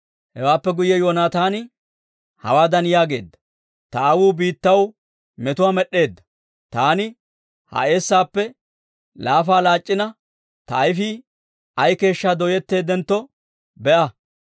Hewaappe guyye Yoonataani hawaadan yaageedda; «Ta aawuu biittaw meto med'd'eedda. Taani ha eessaappe laafa laac'c'ina ta ayfii ay keeshshaa dooyetteeddentto be'a.